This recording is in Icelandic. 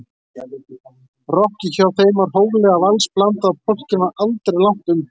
Rokkið hjá þeim var hóflega vals-blandað og polkinn var aldrei langt undan.